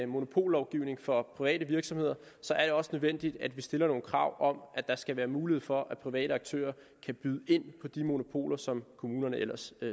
monopollovgivning for private virksomheder er det også nødvendigt at vi stiller nogle krav om at der skal være mulighed for at private aktører kan byde ind på de monopoler som kommunerne ellers